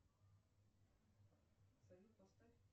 салют поставь